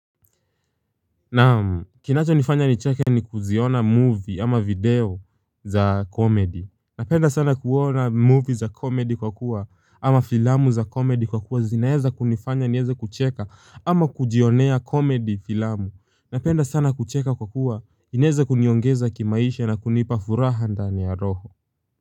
Naam kinachonifanya nicheke ni kuziona movie ama video za comedy Napenda sana kuona movie za comedy kwa kuwa ama filamu za comedy kwa kuwa zinaeza kunifanya nieze kucheka ama kujionea comedy filamu Napenda sana kucheka kwa kuwa ineza kuniongeza kimaisha na kunipa furaha ndani ya roho.